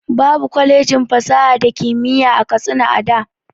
Babu kwalejin fasaha da kimiyya a katsina da